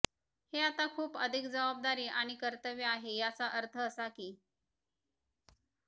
हे आता खूप अधिक जबाबदारी आणि कर्तव्ये आहे याचा अर्थ असा की